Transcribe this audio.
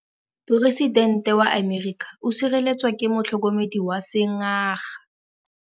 Poresitêntê wa Amerika o sireletswa ke motlhokomedi wa sengaga.